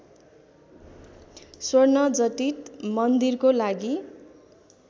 स्वर्णजटित मन्दिरको लागि